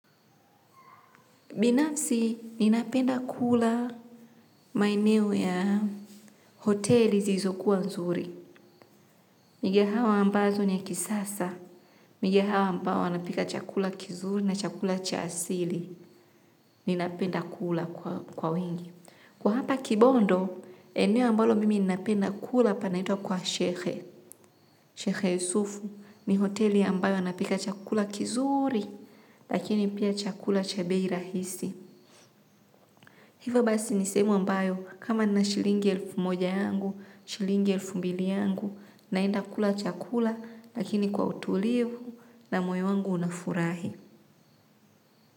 Binafsi, ninapenda kula maeneo ya hoteli zizokuwa nzuri. Migehawa ambazo ni kisasa. Migehawa ambao wanapika chakula kizuri na chakula cha asili. Ninapenda kula kwa wingi. Kwa hapa kibondo, eneo ambalo mimi ninapenda kula panaitwa kwa shekhe. Shekhe yusufu, ni hoteli ambayo anapika chakula kizuuri, lakini pia chakula cha bei rahisi. Hiva basi nisehemu ambayo kama nina shilingi elfu moja yangu, shilingi elfu mbili yangu, naenda kula chakula lakini kwa utuliu na moyo wangu unafurahi.